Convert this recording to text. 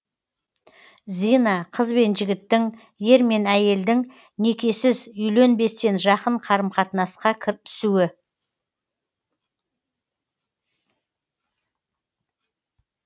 зина қыз бен жігіттің ер мен әйелдің некесіз үйленбестен жақын қарым қатынасқа түсуі